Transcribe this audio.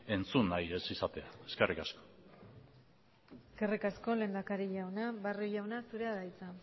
entzun nahi ez izatea eskerrik asko eskerrik asko lehendakari jauna barrio jauna zurea da hitza